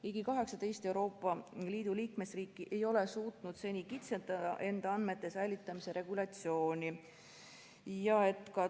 Ligi 18 Euroopa Liidu liikmesriiki ei ole suutnud seni kitsendada enda andmete säilitamise regulatsiooni.